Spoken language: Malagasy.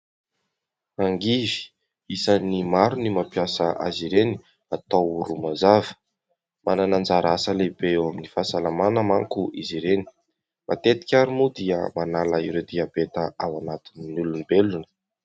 Angivy, isany maro ny mampiasa azy ireny atao romazava, manana anjara asa lehibe eo amin'ny fahasalamana manko izy ireny, matetika ary moa dia manala ireo diabeta ao anatin'ny olombelona.